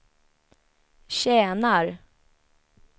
tjänar